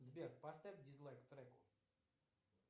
сбер поставь дизлайк треку